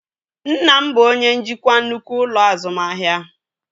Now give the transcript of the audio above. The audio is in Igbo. Nna m bụ onye njikwa nnukwu ụlọ azụmahịa